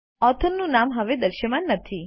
authors નું નામ હવે દૃશ્યમાન નથી